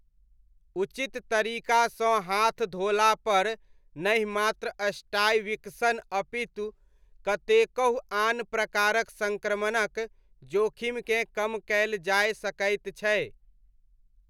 उचित तरीकासँ हाथ धोलापर नहि मात्र स्टाइ विकसन अपितु कतेकहु आन प्रकारक सङ्क्रमणक जोखिमकेँ कम कयल जाय सकैत छै।